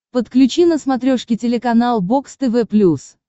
подключи на смотрешке телеканал бокс тв плюс